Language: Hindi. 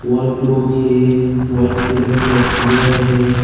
वॉल प्रूफ हैं व्हाईट कलर का दीवार हैं।